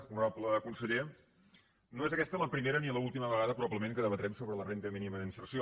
honorable conseller no és aquesta la primera ni l’última vegada probablement que debatrem sobre la renda mínima d’inserció